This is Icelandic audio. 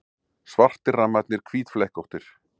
Svartir rammarnir hvítflekkóttir.